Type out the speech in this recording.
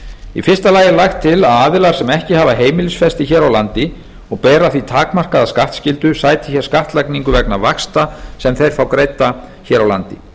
í fyrsta lagi er lagt til að aðilar sem ekki hafa heimilisfesti hér á landi og bera því takmarkaða skattskyldu sæti hér skattlagningu vegna vaxta sem þeir fá greidda hér á landi